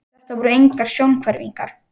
Þetta voru engar sjónhverfingar.